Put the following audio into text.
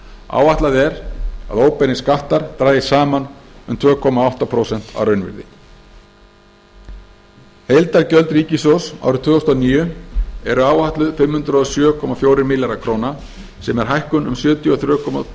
áætlað er óbeinir skattar dragist saman um tvö komma átta prósent að raunvirði heildargjöld ríkissjóðs árið tvö þúsund og níu eru áætluð fimm hundruð og sjö komma fjórir milljarðar króna sem er hækkun um sjötíu og